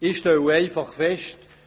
Ich stelle einfach fest: